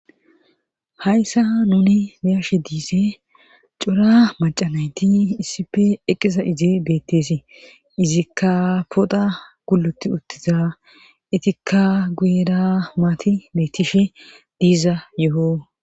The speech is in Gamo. Hayssa nuni biyashe diise cora macanayti iisipe eqqisa ize bettesi izikka poda guluti uttiza itikka guyera maati beettishe diiza yo'o.